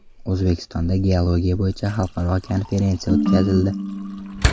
O‘zbekistonda geologiya bo‘yicha xalqaro konferensiya o‘tkazildi.